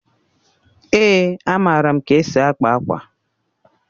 Èé, amaara m ka esi akpa akwa.